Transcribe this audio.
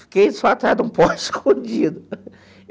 Fiquei só atrás de um poste escondido.